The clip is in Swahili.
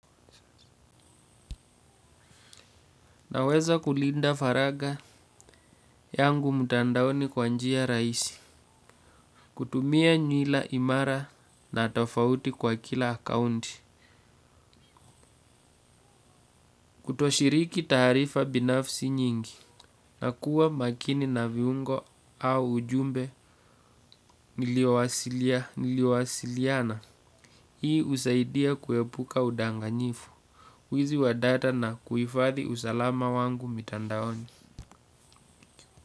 Naweza kulinda faragha yangu mtandaoni kwa njia rahisi, kutumia nywila imara na tofauti kwa kila akaunti, kutoshiriki taarifa binafsi nyingi, na kuwa makini na viungo au ujumbe niliwasilia niliwasiliana, hii husaidia kuepuka udanganyifu, wizi wa data na kuifadhi usalama wangu mtandaoni.